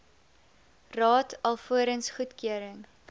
raad alvorens goedkeuring